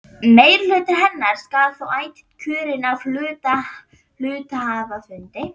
Meirihluti hennar skal þó ætíð kjörinn af hluthafafundi.